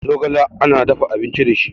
zogale ana dafa abinci da shi